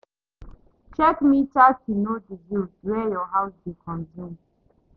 Check meter to know di bills wey your house dey consume